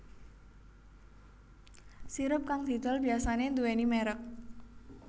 Sirup kang didol biyasané nduwèni mèrek